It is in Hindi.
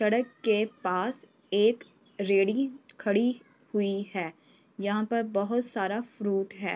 सड़क के पास एक रेड़ी खड़ी हुई है। यहाँ पर बहुत सारा फ्रूट है।